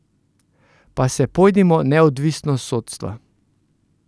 Pa se pojdimo neodvisnost sodstva!